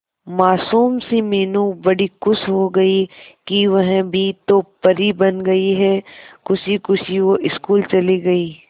मासूम सी मीनू बड़ी खुश हो गई कि वह भी तो परी बन गई है खुशी खुशी वो स्कूल चली गई